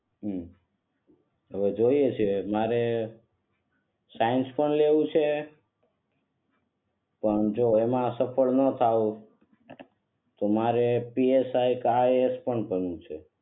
હમ હવે જોઈએ છે મારે સાયન્સ પણ લેવું છે પણ જો એમાં સફર પણ નો થાઉ તો મારે પી એસ આઈ કે આઈ આઈ એસ પણ કરવું છે.